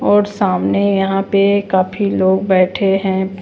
और सामने यहाँ पे काफी लोग बैठे हैं।